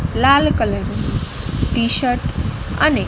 લાલ colour ની T shirt અને--